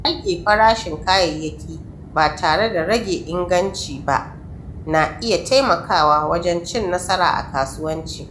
Rage farashin kayayyaki ba tare da rage inganci ba na iya taimakawa wajen cin nasara a kasuwanci.